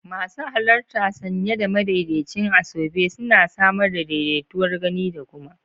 Masu halarta sanye da madaidaicin asoebi suna samar da daidaituwar gani da kuma